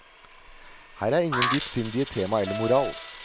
Her er ingen dypsindige tema eller moral.